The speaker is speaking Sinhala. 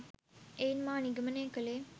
එයින් මා නිගමනය කළේ